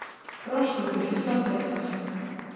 Rostungur í Flateyjardal